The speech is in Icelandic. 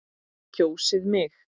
Kjósið mig!